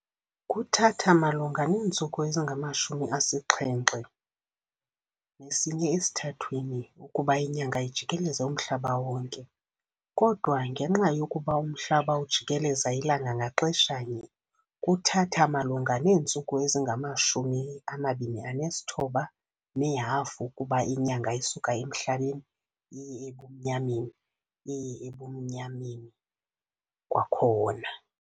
Kuthatha malunga neentsuku ezingama-27⅓ ukuba iNyanga ijikeleze umhlaba wonke kodwa, ngenxa yokuba uMhlaba ujikeleza iLanga ngaxeshanye, kuthatha malunga neentsuku ezingama-29½ ukuba iNyanga isuke ebumnyameni iye ebumnyameni iye ebumnyameni kwakhona.